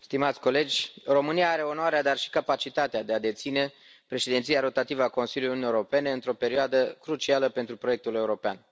Domnule președinte, stimați colegi, România are onoarea, dar și capacitatea, de a deține președinția rotativă a Consiliului Uniunii Europene într o perioadă crucială pentru proiectul european.